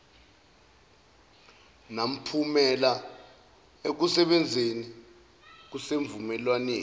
namphumela ekusebenzeni kwesivumelwan